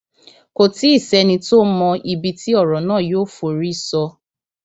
kò tí ì sẹni tó mọ ibi tí ọrọ náà yóò forí sọ